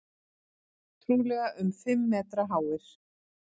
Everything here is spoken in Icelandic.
Trúlega um fimm metra háir.